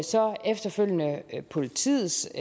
så efterfølgende politiets